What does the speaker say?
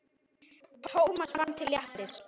Thomas fann til léttis.